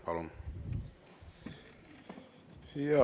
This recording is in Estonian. Palun!